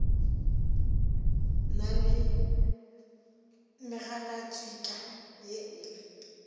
na le megalatšhika ye e